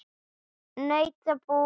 Nautabú getur átt við